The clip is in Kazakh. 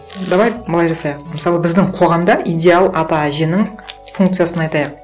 давай былай жасайық мысалы біздің қоғамда идеал ата әженің функциясын айтайық